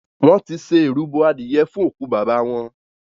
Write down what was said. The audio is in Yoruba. Wón tí ṣe ìrúbo adìye fún oku bàbá wón.